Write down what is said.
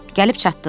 Gəlib çatdıq.